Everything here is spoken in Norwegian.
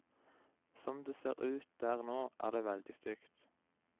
Som det ser ut der nå, er det veldig stygt.